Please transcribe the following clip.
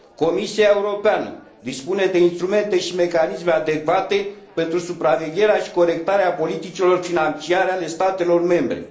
Comisia Europeană dispune de instrumente și mecanisme adecvate pentru supravegherea și corectarea politicilor financiare ale statelor membre.